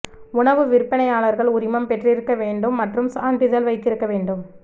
உணவு விற்பனையாளர்கள் உரிமம் பெற்றிருக்க வேண்டும் மற்றும் சான்றிதழ் வைத்திருக்க வேண்டும்